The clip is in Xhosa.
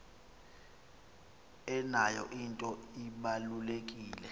eyona nto ibalulekileyo